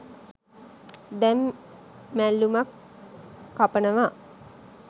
දැන් මැල්ලුමක් කපනවා.